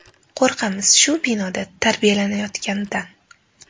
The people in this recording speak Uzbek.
Qo‘rqamiz shu binoda tarbiyalanayotganidan.